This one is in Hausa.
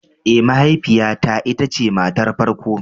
Ee, mahaifiyata ita ce matar farko.